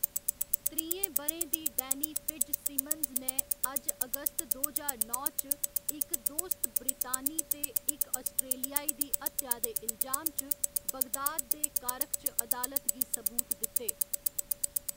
त्रीहें ब'रें दी डैनी फिट्ज सिमन्स ने अज्ज अगस्त दो ज्हार नौ च इक दोस्त ब्रितानी ते इक आस्ट्रेलियाई दी हत्या दे इलजाम च बगदाद दे कारख च अदालत गी सबूत दित्ते।